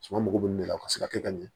Suma mago bɛ min de la ka se ka kɛ ka ɲɛ